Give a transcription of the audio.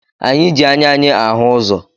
Anyị ji anya anyị ahụ ụzọ